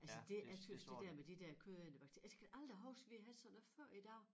Altså det jeg tøs det der med de der kødædende bakterier altså jeg kan aldrig huske vi havde sådan noget før i dag